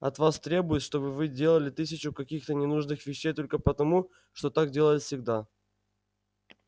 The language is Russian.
от вас требуют чтобы вы делали тысячу каких-то ненужных вещей только потому что так делалось всегда